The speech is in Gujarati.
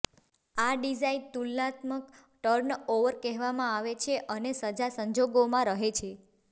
આ ડિઝાઇન તુલનાત્મક ટર્નઓવર કહેવામાં આવે છે અને સજા સંજોગોમાં રહે છે